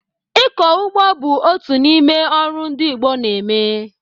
Ịkọ ugbo bụ otu n'ime ọrụ ndị Igbo na-eme